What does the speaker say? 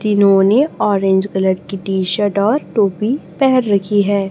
जिन्हों ने orange colour की टी शर्ट और टोपी पेहन रखी है।